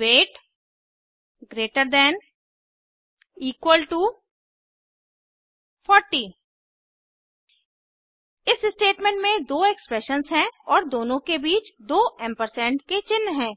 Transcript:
wait greater than equal to 40 इस statement में दो एक्सप्रेशन्स हैं और दोनों के बीच दो एम्परसेंड के चिन्ह हैं